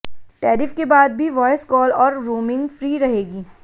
tariff के बाद भी वॉयस कॉल और रोमिंग फ्री रहेगी